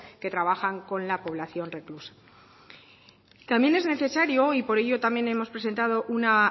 que trabajan con la población reclusa también es necesario y por ello también hemos presentado una